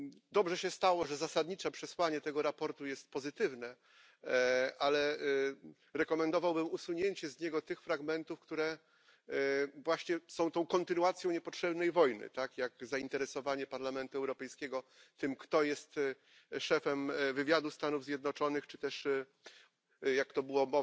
Dobrze się stało, że zasadnicze przesłanie tego sprawozdania jest pozytywne, ale rekomendowałbym usunięcie z niego tych fragmentów, które właśnie są tą kontynuacją niepotrzebnej wojny, tak jak zainteresowanie Parlamentu Europejskiego tym, kto jest szefem wywiadu Stanów Zjednoczonych, czy też, jak to była